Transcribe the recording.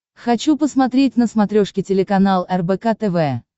хочу посмотреть на смотрешке телеканал рбк тв